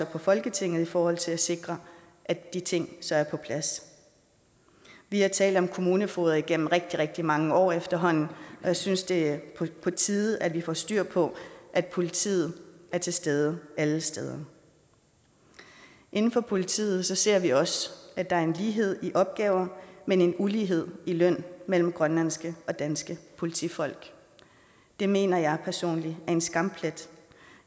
på folketinget i forhold til at sikre at de ting så er på plads vi har talt om kommunefogeder igennem rigtig rigtig mange år efterhånden og jeg synes det er på tide at vi får styr på at politiet er til stede alle steder inden for politiet ser vi også at der er en lighed i opgaver men en ulighed i løn mellem grønlandske og danske politifolk det mener jeg personligt er en skamplet